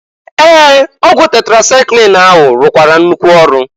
Ee! Ọgwụ tetrasaịklin ahụ rụkwara nnukwu ọrụ.